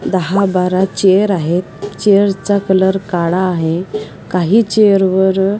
दहा बारा चेअर आहेत चेअर चा कलर काळा आहे काही चेअर वर --